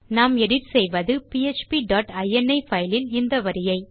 நாம் எடிட் செய்வது PHP dot ini file இல் இந்த வரியை